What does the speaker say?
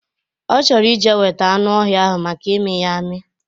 Ọ chọrọ ije weta anụ ọhịa ahụ maka ịmị ya amị